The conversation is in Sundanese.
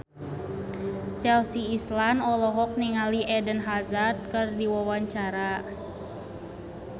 Chelsea Islan olohok ningali Eden Hazard keur diwawancara